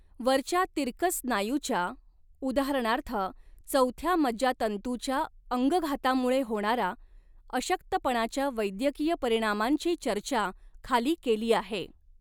वरच्या तिरकस स्नायूच्या उदाहरणार्थ, चौथ्या मज्जातंतूच्या अंगघातामुळे होणारा अशक्तपणाच्या वैद्यकीय परिणामांची चर्चा खाली केली आहे.